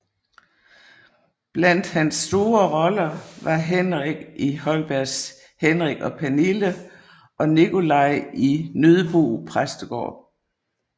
Blandt hans store roller var Henrik i Holbergs Henrik og Pernille og Nicolai i Nøddebo Præstegård